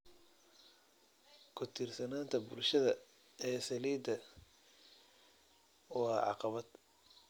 Ku tiirsanaanta bulshada ee saliidda waa caqabad.